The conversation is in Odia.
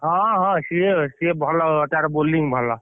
ହଁ ହଁ ସିଏ ସିଏ ଭଲ ତାର bowling ଭଲ।